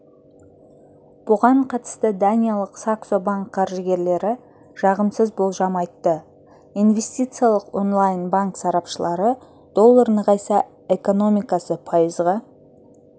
бұған қатысты даниялық саксо банк қаржыгерлері жағымсыз болжам айтты инвестициялық онлайн-банк сарапшылары доллар нығайса экономикасы пайызға